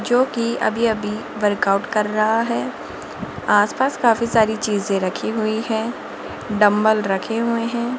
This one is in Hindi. जो कि अभी अभी वर्कआउट कर रहा है आसपास काफी सारी चीजे रखी हुई है डंबल रखे हुए हैं।